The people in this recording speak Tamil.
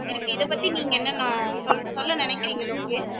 இருக்கு இதை பத்தி நீங்க என்னலாம் சொல்ல நினைக்குறீங்க லோகேஷ்